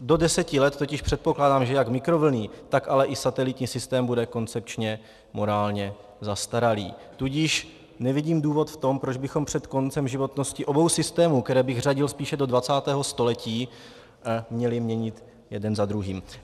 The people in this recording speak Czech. Do deseti let totiž předpokládám, že jak mikrovlnný, tak ale i satelitní systém bude koncepčně morálně zastaralý, tudíž nevidím důvod v tom, proč bychom před koncem životnosti obou systémů, které bych řadil spíše do 20. století, měli měnit jeden za druhým.